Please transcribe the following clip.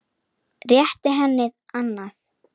Réttir henni annað.